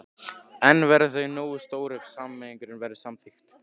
En verða þau nógu stór ef sameining verður samþykkt?